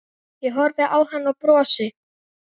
Ég horfi á hann og brosi.